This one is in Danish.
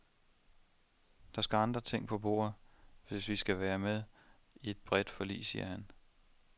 Der skal andre ting på bordet, hvis vi skal være med i et bredt forlig, siger han.